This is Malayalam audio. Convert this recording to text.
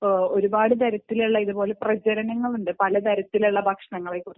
ഒരുപാട് തരത്തിലുള്ള പ്രചാരങ്ങൾ ഉണ്ട് പലതരത്തിലുള്ള ഭക്ഷണങ്ങളെക്കുറിച്ചു